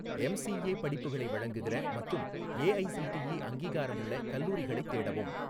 MCA படிப்புகளை வழங்குகிற மற்றும் ஏஐசிடிஇ அங்கீகாரமுள்ள கல்லூரிகளைத் தேடவும்.